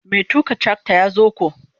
Mai tuka trakta ya zo ko.